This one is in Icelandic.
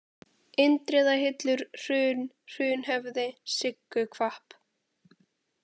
Indriðahillur, Hrun, Hrunhöfði, Sigguhvapp